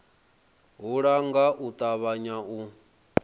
hula nga u ṱavhanya u